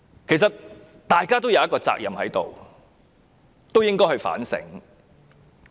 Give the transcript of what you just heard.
其實，大家皆有責任，應該反省。